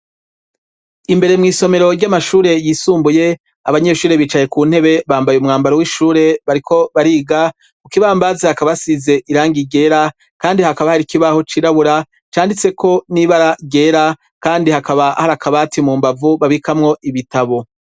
Imbere mu isomero ry'amashure yisumbuye abanyeshuri bicaye ku ntebe bambaye umwambaro w'ishure bariko bariga kukibambazi hakaba asize irangi ryera kandi hakaba hari ikibaho cirabura canditse ko nibara ryera kandi hakaba hari akabati mu mbavu babikamwo ibitabo.